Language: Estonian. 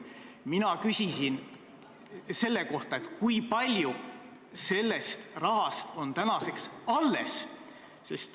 Mina küsisin selle kohta, kui palju sellest rahast on tänaseks alles.